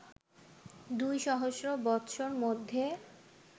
দুই সহস্র বৎসর মধ্যে